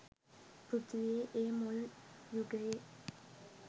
පෘථීවියේ ඒ මුල් යුගයේ